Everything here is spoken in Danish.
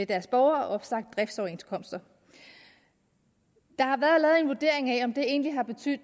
deres borgere og opsagt driftsoverenskomster der har været lavet en vurdering af om det egentlig har betydet